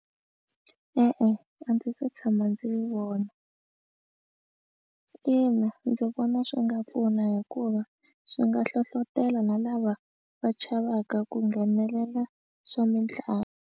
E-e a ndzi se tshama ndzi vona ina ndzi vona swi nga pfuna hikuva swi nga hlohlotelo na lava va chavaka ku nghenelela swa mitlangu.